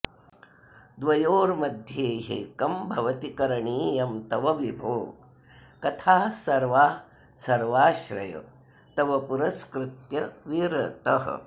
द्वयोर्मध्ये ह्येकं भवति करणीयं तव विभो कथाः सर्वाः सर्वाश्रय तव पुरस्कृत्य विरतः